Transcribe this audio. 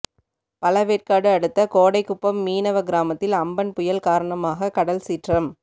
பழவேற்காடு அடுத்த கோடைக்குப்பம் மீனவ கிராமத்தில் அம்பன் புயல் காரணமாக கடல் சீற்றம்